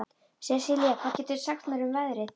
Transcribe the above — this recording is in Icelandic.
Sesilía, hvað geturðu sagt mér um veðrið?